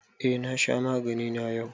Eh, na sha magani na yau.